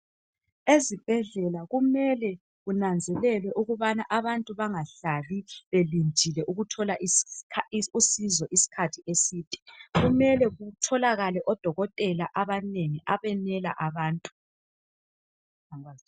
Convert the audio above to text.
Ezibhedlela kumele kunanzelelwe ukubana abantu bangahlali belindile ukuthola usizo iskhathi eside. Kumele kutholakale odokotela abanengi abenela abantu.